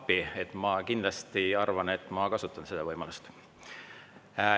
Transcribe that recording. Ma arvan, et ma kindlasti kasutan seda võimalust.